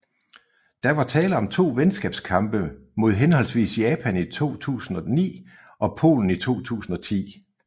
Der var tale om to venskabskampe mod henholdsvis Japan i 2009 og Polen i 2010